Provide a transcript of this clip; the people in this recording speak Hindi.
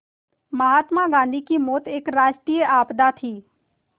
महात्मा गांधी की मौत एक राष्ट्रीय आपदा थी